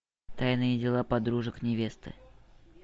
тайные дела подружек невесты